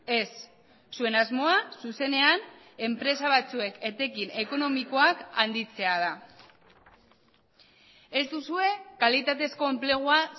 ez zuen asmoa zuzenean enpresa batzuek etekin ekonomikoak handitzea da ez duzue kalitatezko enplegua